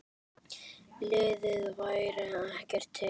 Lúlli væri ekki til.